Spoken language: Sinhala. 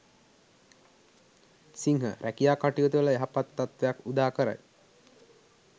සිංහ රැකියා කටයුතුවල යහපත් තත්ත්වයක් උදාකරයි.